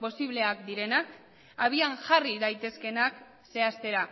posibleak direnak abian jarri daitezkeenak zehaztera